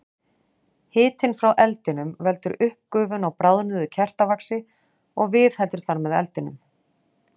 Hitinn frá eldinum veldur uppgufun á bráðnuðu kertavaxi og viðheldur þar með eldinum.